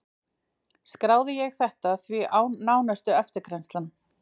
Skráði ég þetta því án nánari eftirgrennslunar.